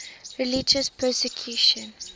religious persecution